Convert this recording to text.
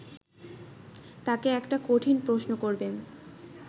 তাকে একটা কঠিন প্রশ্ন করবেন